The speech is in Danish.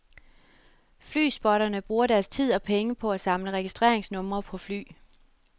Fly-spotterne bruger deres tid og penge på at samle registringsnumre på fly.